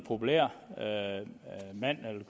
populær mand